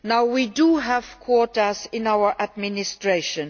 We do have quotas in our administration.